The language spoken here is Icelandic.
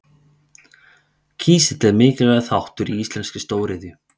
Kísill er mikilvægur þáttur í íslenskri stóriðju.